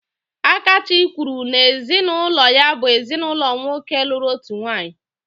Akachi kwuru n'ezinụlọ ya bụ ezinaụlọ nwoke lụrụ otu nwaanyị.